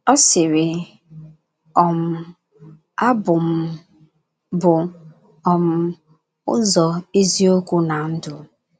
Ọ sịrị: “ um A bụ m bụ um ụzọ, eziokwu na ndụ.